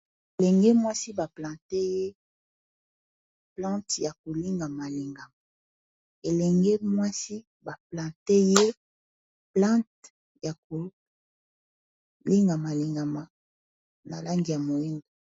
Elenge mwasi ba planter ye plante yako lingamalingama, elenge mwasi ba planter ye plante yako lingamalingama, na langi ya moyindo.